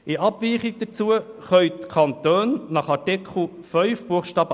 In Abweichung dazu können die Kantone nach Artikel 5 Buchstabe